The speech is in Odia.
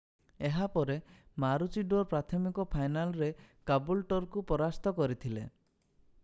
ଏହା ପରେ ମାରୁଚିଡୋର ପ୍ରାଥମିକ ଫାଇନାଲରେ କାବୁଲ୍ଚର୍କୁ ପରାସ୍ତ କରିଥିଲେ